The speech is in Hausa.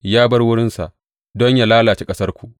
Ya bar wurinsa don yă lalace ƙasarku.